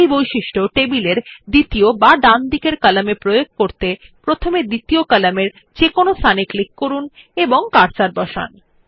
এই বৈশিষ্ট্য টেবিল এর দ্বিতীয় বা ডান দিকের কলাম এ প্রয়োগ করতে প্রথমে দ্বিতীয় কলামের যেকোনো স্থানে ক্লিক করুন এবং কার্সার বসান